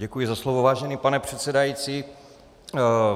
Děkuji za slovo, vážený pane předsedající.